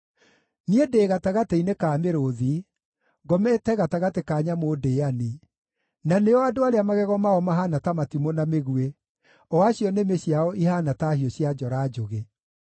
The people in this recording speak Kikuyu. Niĩ ndĩ gatagatĩ-inĩ ka mĩrũũthi; ngomete gatagatĩ ka nyamũ ndĩĩani, na nĩo andũ arĩa magego mao mahaana ta matimũ na mĩguĩ, o acio nĩmĩ ciao ihaana ta hiũ cia njora njũgĩ.